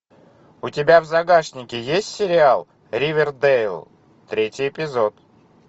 у тебя в загашнике есть сериал ривердейл третий эпизод